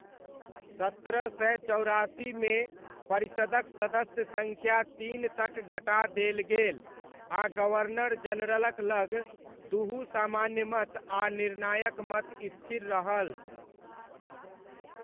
सत्रह सय चौरासीमे परिषदक सदस्य सङ्ख्या तीन तक घटा देल गेल आ गवर्नर जनरलक लग दुहु सामान्य मत आ निर्णायक मत स्थिर रहल।